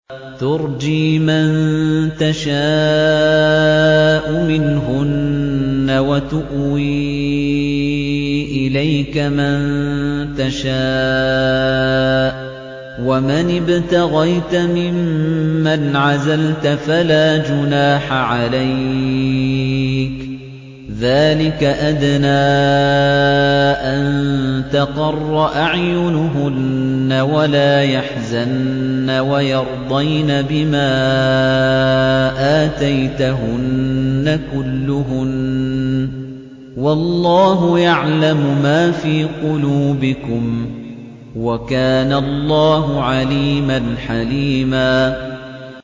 ۞ تُرْجِي مَن تَشَاءُ مِنْهُنَّ وَتُؤْوِي إِلَيْكَ مَن تَشَاءُ ۖ وَمَنِ ابْتَغَيْتَ مِمَّنْ عَزَلْتَ فَلَا جُنَاحَ عَلَيْكَ ۚ ذَٰلِكَ أَدْنَىٰ أَن تَقَرَّ أَعْيُنُهُنَّ وَلَا يَحْزَنَّ وَيَرْضَيْنَ بِمَا آتَيْتَهُنَّ كُلُّهُنَّ ۚ وَاللَّهُ يَعْلَمُ مَا فِي قُلُوبِكُمْ ۚ وَكَانَ اللَّهُ عَلِيمًا حَلِيمًا